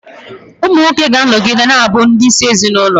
Ụmụ nwoke ga-anọgide na-abụ ndị isi ezinụlọ.